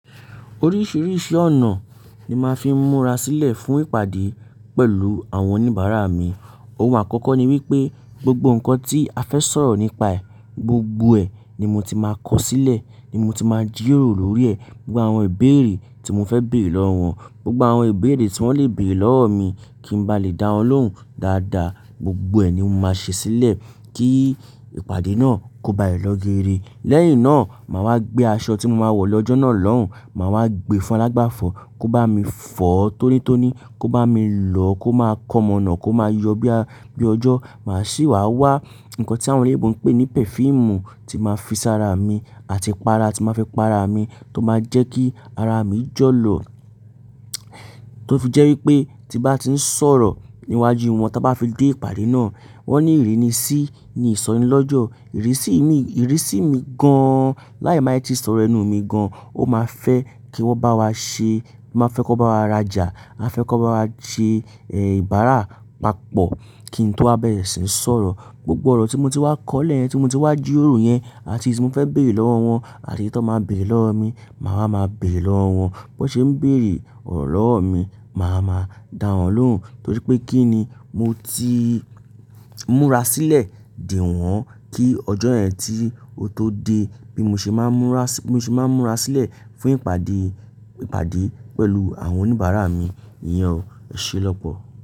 Oríṣiríṣi ọ̀nà ni màá fi múra sílẹ̀ fún ìpàdé pẹ̀lú àwọn oníbàárà mi. Ohun àkọ́kọ́ ni wípé gbogbo ǹkan tí a fẹ́ sọ̀rọ̀ nípa ẹ̀, gbogbo ẹ̀ ni mo ti máa kọ sílẹ̀, ni mo ti máa jíró lóri ẹ, gbogbo àwọn ìbéèrè tí mo fẹ́ bèrè lọ́wọ́ wọn, gbogbo àwọn ìbéèrè tí wọ́n lè bèrè lọ́wọ́ mi kí n bá lè dá wọn lóhùn dáadáa, gbogbo ẹ̀ ni mo máa ṣe sílẹ̀ kí ìpàdé náà kó ba lè lọ geere. Lẹ́yìn náà, màá wá gbé aṣọ tí mo máa wọ̀ lọ́jọ́ náà lóhùn, màá wá gbe fún alágbàfọ̀ kó bá mi fọ̀ tónítóní, kó bá mi lọ, kó máa kọ mọ̀nà, kó máa yọ bí a, bí ọjọ́, màá sì wá wá ǹkan tí àwọn ọ̀rẹ́ mi ń pè ní perfume tí máa fi ṣara mi àti para tí máa fi pa ara mi tó máa jẹ́ kí ara mi jọ̀lọ̀. Tó fi jẹ́ wípé tí bá ti ń sọ̀rọ̀ níwájú wọn, tí bá fi dé ìpàdé náà, wọ́n ní ìrínisí ní ìsọ̀ni lọ́jọ́, ìrísí mi, ìrísí mi gan an, láì máa ti sọ̀rọ̀ ẹnu mi gan an. Ó máa fẹ́ kí wọ́n bá wa ṣe, máa fẹ́ kó bá wa rajà, máa fẹ́ kó bá wa ṣe, ìbára papọ̀ kí n tó bá bẹ̀rẹ̀ sí ní sọ̀rọ̀. Gbogbo ọ̀rọ̀ tí mo ti wá kọ́ lẹ́yìn ẹ́ tí mo ti wá jíró yẹn àti èyí tí mo fẹ́ bèrè lọ́wọ́ wọn àti tí wọ́n máa bèrè lọ́wọ́ mi, màá máa bèrè lọ́wọ́ wọn. Bí wọ́n ṣe ń bèrè ọ̀rọ̀ lọ́wọ́ mi, màá máa dá wọn lóhùn torí pé kí ni mo ti múra sílẹ̀ dè wọ́n kí ọjọ́ yẹn tí ó tó dé bí mo ṣe máa ń múra sí, bí mo ṣe máa ń múra sílẹ̀ fún ìpàdé, ìpàdé pẹ̀lú àwọn oníbàárà mi. Ìyẹn o. eṢé lọ́pọ̀?